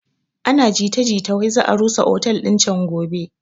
Ana jita jita wai za a rusa otel din can gobe